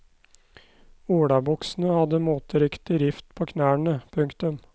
Olabuksene hadde moteriktig rift på knærne. punktum